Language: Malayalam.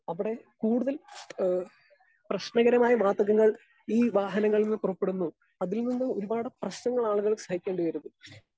സ്പീക്കർ 2 അവടെ കൂടുതൽ ഏഹ് പ്രശ്നകരമായ വാതകങ്ങൾ ഈ വാഹനങ്ങളിൽ നിന്ന് പുറപ്പെടുന്നു, അതിൽനിന്നൊരുപാട് പ്രശ്നങ്ങളാളുകൾ സഹിക്കേണ്ടിവരുന്നു.